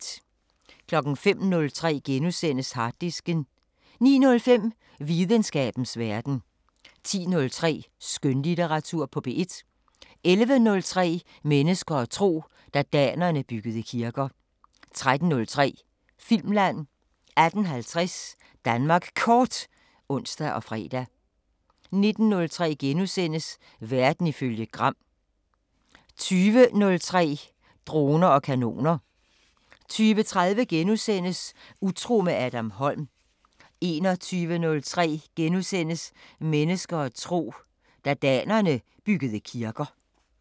05:03: Harddisken * 09:05: Videnskabens Verden 10:03: Skønlitteratur på P1 11:03: Mennesker og tro: Da danerne byggede kirker 13:03: Filmland 18:50: Danmark Kort (ons og fre) 19:03: Verden ifølge Gram * 20:03: Droner og kanoner 20:30: Utro med Adam Holm * 21:03: Mennesker og tro: Da danerne byggede kirker *